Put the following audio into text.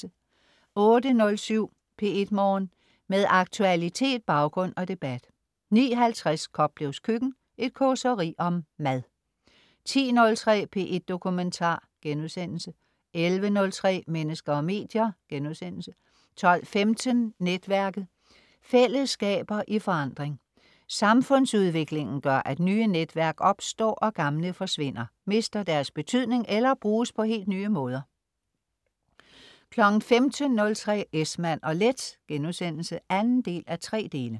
08.07 P1 Morgen. Med aktualitet, baggrund og debat 09.50 Koplevs Køkken. Et causeri om mad 10.03 P1 Dokumentar* 11.03 Mennesker og medier* 12.15 Netværket. Fællesskaber i forandring. Samfundsudviklingen gør, at nye netværk opstår, og gamle forsvinder, mister deres betydning eller bruges på helt nye måder 15.03 Esmann & Leth* 2:3